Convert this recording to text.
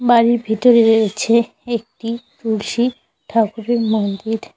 বাড়ির ভিতরে রয়েছে একটি তুলসী ঠাকুরের মন্দির।